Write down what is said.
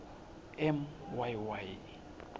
m y y